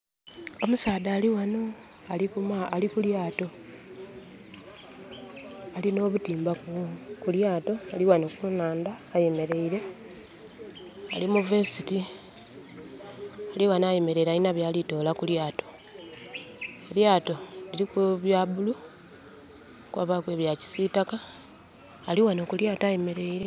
Omusaadha ali ghanho ali ku lyaato. Alina obuyimba ku lyato ali ghanho kunandha ayemereire ali mu vesiti, ali ghanho ayemereire alina byali kutola kulato. Elyaato kuliku ebya bulu kwabaku ebya kisitaka ali ghanho ku lyaato ayemereire.